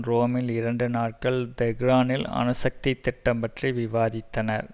ரோமில் இரண்டு நாட்கள் தெஹ்ரானின் அணுசக்தி திட்டம் பற்றி விவாதித்தனர்